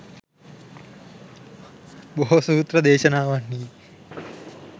බොහෝ සූත්‍ර දේශනාවන්හි